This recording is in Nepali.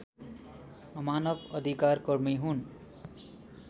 मानव अधिकारकर्मी हुन्